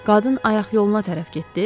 Qadın ayaq yoluna tərəf getdi.